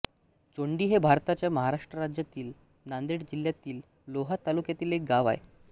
चोंडी हे भारताच्या महाराष्ट्र राज्यातील नांदेड जिल्ह्यातील लोहा तालुक्यातील एक गाव आहे